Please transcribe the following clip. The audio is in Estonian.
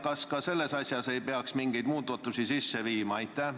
Kas ka selles asjas ei peaks mingit muudatust sisse viima?